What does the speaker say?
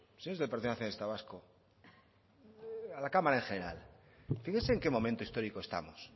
señores del partido nacionalista vasco a la cámara en general fíjese en qué momento histórico estamos